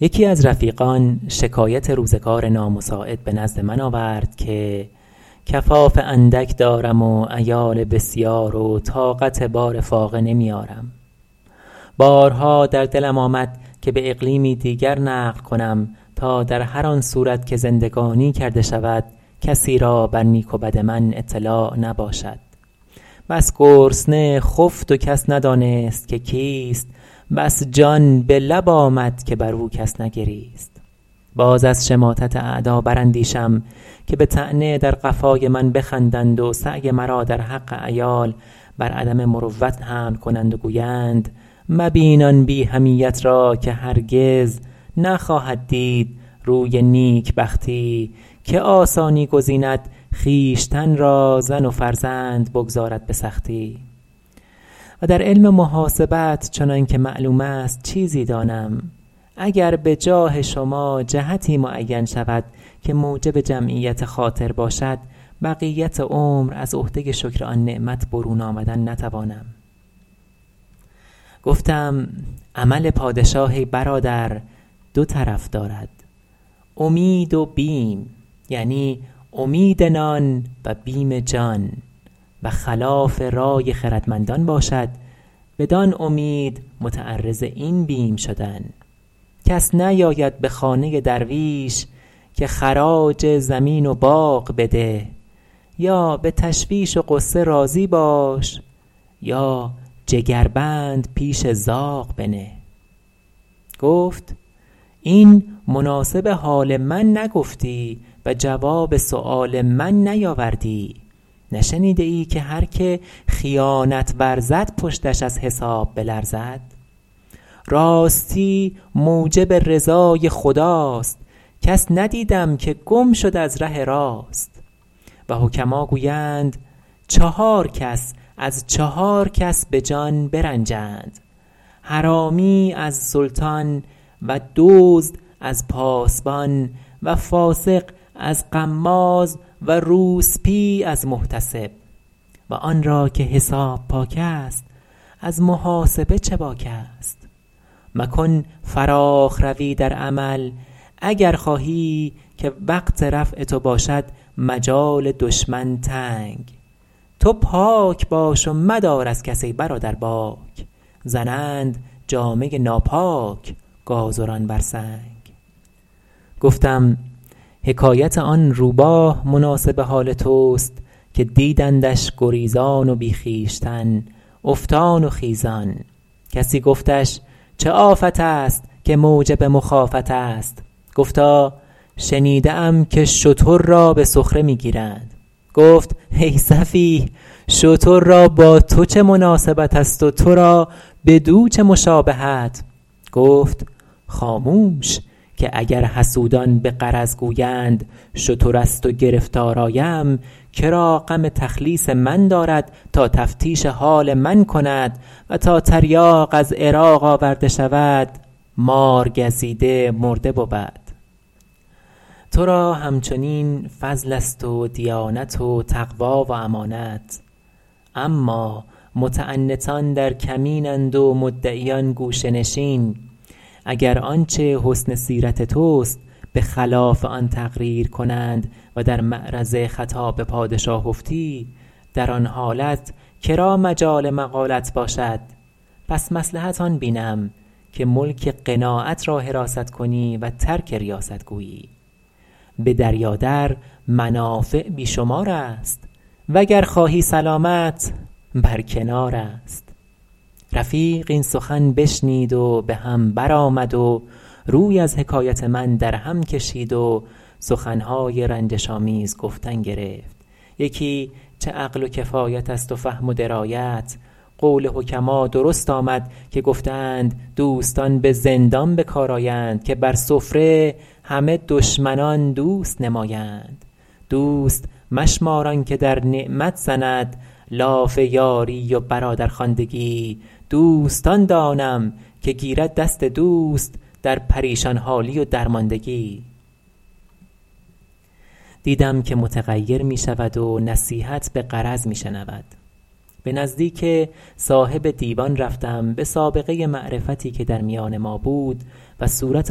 یکی از رفیقان شکایت روزگار نامساعد به نزد من آورد که کفاف اندک دارم و عیال بسیار و طاقت بار فاقه نمی آرم و بارها در دلم آمد که به اقلیمی دیگر نقل کنم تا در هر آن صورت که زندگانی کرده شود کسی را بر نیک و بد من اطلاع نباشد بس گرسنه خفت و کس ندانست که کیست بس جان به لب آمد که بر او کس نگریست باز از شماتت اعدا بر اندیشم که به طعنه در قفای من بخندند و سعی مرا در حق عیال بر عدم مروت حمل کنند و گویند مبین آن بی حمیت را که هرگز نخواهد دید روی نیکبختی که آسانی گزیند خویشتن را زن و فرزند بگذارد به سختی و در علم محاسبت چنان که معلوم است چیزی دانم و گر به جاه شما جهتی معین شود که موجب جمعیت خاطر باشد بقیت عمر از عهده شکر آن نعمت برون آمدن نتوانم گفتم عمل پادشاه ای برادر دو طرف دارد امید و بیم یعنی امید نان و بیم جان و خلاف رای خردمندان باشد بدان امید متعرض این بیم شدن کس نیاید به خانه درویش که خراج زمین و باغ بده یا به تشویش و غصه راضی باش یا جگربند پیش زاغ بنه گفت این مناسب حال من نگفتی و جواب سؤال من نیاوردی نشنیده ای که هر که خیانت ورزد پشتش از حساب بلرزد راستی موجب رضای خداست کس ندیدم که گم شد از ره راست و حکما گویند چهار کس از چهار کس به جان برنجند حرامی از سلطان و دزد از پاسبان و فاسق از غماز و روسبی از محتسب و آن را که حساب پاک است از محاسب چه باک است مکن فراخ روی در عمل اگر خواهی که وقت رفع تو باشد مجال دشمن تنگ تو پاک باش و مدار از کس ای برادر باک زنند جامه ناپاک گازران بر سنگ گفتم حکایت آن روباه مناسب حال توست که دیدندش گریزان و بی خویشتن افتان و خیزان کسی گفتش چه آفت است که موجب مخافت است گفتا شنیده ام که شتر را به سخره می گیرند گفت ای سفیه شتر را با تو چه مناسبت است و تو را بدو چه مشابهت گفت خاموش که اگر حسودان به غرض گویند شتر است و گرفتار آیم که را غم تخلیص من دارد تا تفتیش حال من کند و تا تریاق از عراق آورده شود مارگزیده مرده بود تو را هم چنین فضل است و دیانت و تقوی و امانت اما متعنتان در کمین اند و مدعیان گوشه نشین اگر آنچه حسن سیرت توست به خلاف آن تقریر کنند و در معرض خطاب پادشاه افتی در آن حالت مجال مقالت باشد پس مصلحت آن بینم که ملک قناعت را حراست کنی و ترک ریاست گویی به دریا در منافع بی شمار است و گر خواهی سلامت بر کنار است رفیق این سخن بشنید و به هم بر آمد و روی از حکایت من در هم کشید و سخن های رنجش آمیز گفتن گرفت کاین چه عقل و کفایت است و فهم و درایت قول حکما درست آمد که گفته اند دوستان به زندان به کار آیند که بر سفره همه دشمنان دوست نمایند دوست مشمار آن که در نعمت زند لاف یاری و برادرخواندگی دوست آن دانم که گیرد دست دوست در پریشان حالی و درماندگی دیدم که متغیر می شود و نصیحت به غرض می شنود به نزدیک صاحب دیوان رفتم به سابقه معرفتی که در میان ما بود و صورت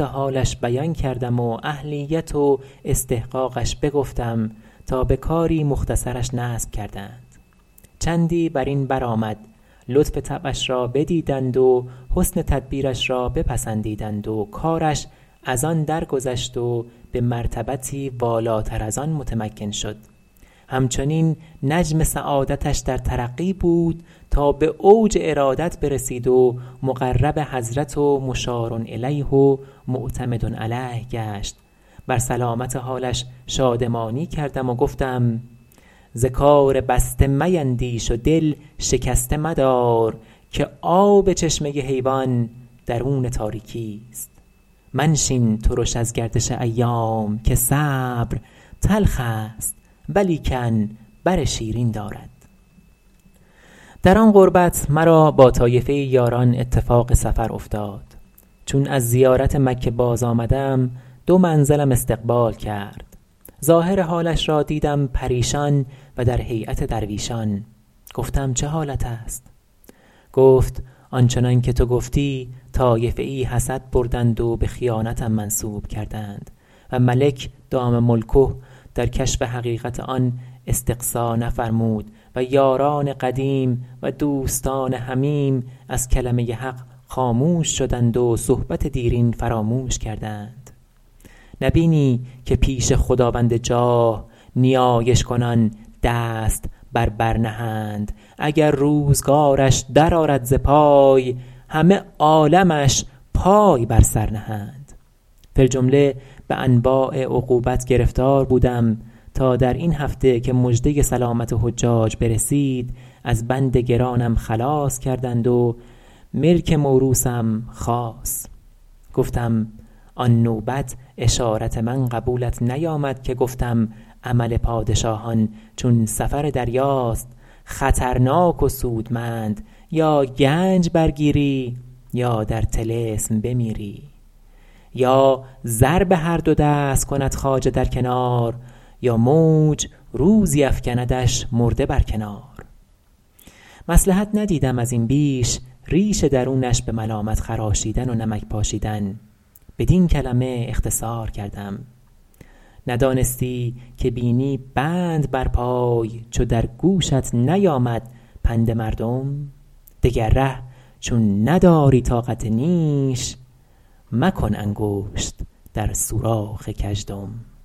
حالش بیان کردم و اهلیت و استحقاقش بگفتم تا به کاری مختصرش نصب کردند چندی بر این بر آمد لطف طبعش را بدیدند و حسن تدبیرش را بپسندیدند و کارش از آن درگذشت و به مرتبتی والاتر از آن متمکن شد هم چنین نجم سعادتش در ترقی بود تا به اوج ارادت برسید و مقرب حضرت و مشارالیه و معتمد علیه گشت بر سلامت حالش شادمانی کردم و گفتم ز کار بسته میندیش و دل شکسته مدار که آب چشمه حیوان درون تاریکی است الا لایجأرن اخو البلیة فللرحمٰن الطاف خفیة منشین ترش از گردش ایام که صبر تلخ است ولیکن بر شیرین دارد در آن قربت مرا با طایفه ای یاران اتفاق سفر افتاد چون از زیارت مکه باز آمدم دو منزلم استقبال کرد ظاهر حالش را دیدم پریشان و در هیأت درویشان گفتم چه حالت است گفت آن چنان که تو گفتی طایفه ای حسد بردند و به خیانتم منسوب کردند و ملک دام ملکه در کشف حقیقت آن استقصا نفرمود و یاران قدیم و دوستان حمیم از کلمه حق خاموش شدند و صحبت دیرین فراموش کردند نه بینی که پیش خداوند جاه نیایش کنان دست بر بر نهند اگر روزگارش در آرد ز پای همه عالمش پای بر سر نهند فی الجمله به انواع عقوبت گرفتار بودم تا در این هفته که مژده سلامت حجاج برسید از بند گرانم خلاص کرد و ملک موروثم خاص گفتم آن نوبت اشارت من قبولت نیامد که گفتم عمل پادشاهان چون سفر دریاست خطرناک و سودمند یا گنج برگیری یا در طلسم بمیری یا زر به هر دو دست کند خواجه در کنار یا موج روزی افکندش مرده بر کنار مصلحت ندیدم از این بیش ریش درونش به ملامت خراشیدن و نمک پاشیدن بدین کلمه اختصار کردیم ندانستی که بینی بند بر پای چو در گوشت نیامد پند مردم دگر ره چون نداری طاقت نیش مکن انگشت در سوراخ گژدم